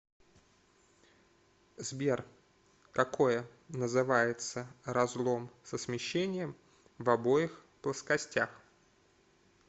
сбер какое называется разлом со смещением в обоих плоскостях